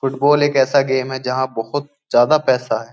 Football एक ऐसा game है जहाँ बहुत ज्यादा पैसा है।